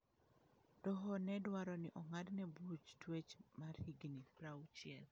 Doho ne dwaro ni ong'adne buch tuech mar higini 60.